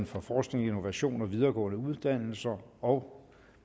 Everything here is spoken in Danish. for forskning innovation og videregående uddannelser og